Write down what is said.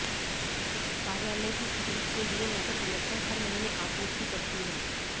कार्यालय की खरीद के लिए नकद समर्थन हर महीने आपूर्ति करती है